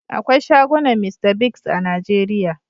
Akwai shagunan Mr Biggs a Najeria.